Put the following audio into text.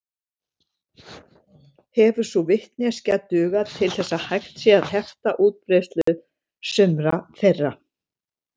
Hefur sú vitneskja dugað til þess að hægt sé að hefta útbreiðslu sumra þeirra.